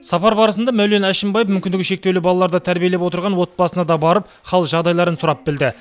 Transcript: сапар барысында мәулен әшімбаев мүмкіндігі шектеулі балаларды тәрбиелеп отырған отбасына да барып хал жағдайларын сұрап білді